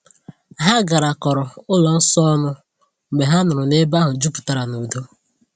Ha garakọrọ ụlọ nsọ ọnụ mgbe ha nụrụ na ebe ahụ juputara n’udo.